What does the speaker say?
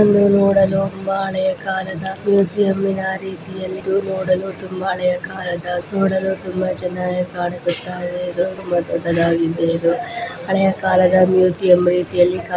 ಇದೊಂದು ನೋಡಲು ತುಂಬಾ ಹಳೆಕಾಲದ ಮುಸಿಯಂ .ರೀತಿಯನ್ನು ತುಮನಬ ಹಳೆ ಕಾಲದ ನೋಡಲು ತುಂಬಾ ಚನ್ನಾಗಿ ಕಾಣಿಸುತ್ತಾಯಿದೆ ಇದೊಂದು ಹಳೆಯ ಕಾಲದ ಮುಸಿಯಂ ರೀತಿಯಲ್ಲಿ ಕಾಣಿ--